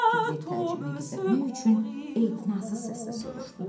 Piqlet təəccübünü gizlətmək üçün ehtinasız səslə soruşdu.